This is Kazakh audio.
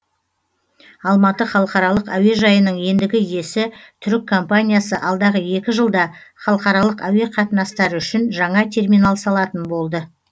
алматы халықаралық әуежайының ендігі иесі түрік компаниясы алдағы екі жылда халықаралық әуеқатынастары үшін жаңа терминал салатын болды